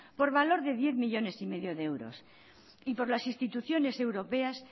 por valor de diez coma cinco millónes de euros y por las instituciones europeas